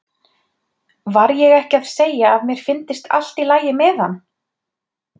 Var ég ekki að segja að mér fyndist allt í lagi með hann?